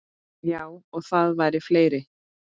Já, og það voru fleiri.